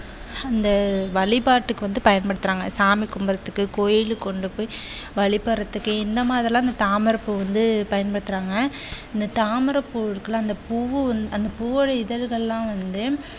அந்த வழிபாட்டுக்கு வந்து பயன் பயன்படுத்துறாங்க சாமி கும்பிடுவதற்கு கோவிலில் கொண்டு போய் வழிபடுவதற்கு இந்த மாதிரி எல்லாம் தாமரைப்பூ வந்து பயன்படுத்துறாங்க. இந்த தாமரைப் பூ இருக்கு இல்லையா அந்த பூ அந்த பூவோட இதழ்கள் எல்லாம் வந்து